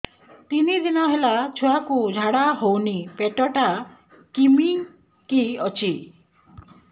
ତିନି ଦିନ ହେଲା ଛୁଆକୁ ଝାଡ଼ା ହଉନି ପେଟ ଟା କିମି କି ଅଛି